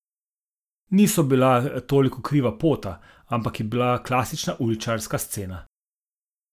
Niso bila toliko kriva pota, ampak je bila klasična uličarska scena.